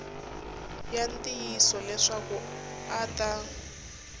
ya ntiyiso leswaku a ta